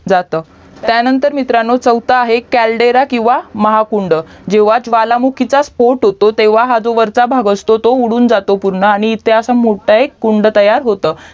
जातं त्यानंतर मित्रांनो चौथा आहे क्याल्देरा किव्हा महाकुंड जेव्हा ज्वालामुखीचा स्पोट होतो तेव्हा जो हा वरचा भाग असतो तो उडून जातो पूर्ण आणि ते असा एक मोठं कुंड तयार होतं